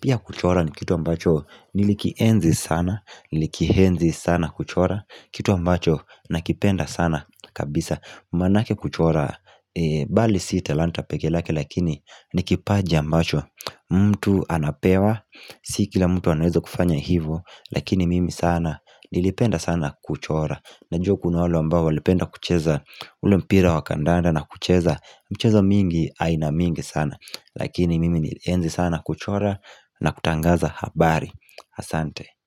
Pia kuchora ni kitu ambacho Nilikienzi sana Nilikienzi sana kuchora Kitu ambacho nakipenda sana kabisa Manake kuchora Bali si talanta pekelake lakini Nikipaji ambacho mtu anapewa Si kila mtu anaeza kufanya hivo Lakini mimi sana Nilipenda sana kuchora Najua kuna walule ambao Walipenda kucheza ule mpira wakandanda na kucheza michezo mingi aina mingi sana Lakini mimi nilienzi sana kuchora na kutangaza habari Asante.